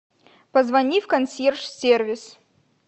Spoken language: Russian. позвони в консьерж сервис